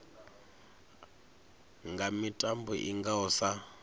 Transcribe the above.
nga mitambo i ngaho sa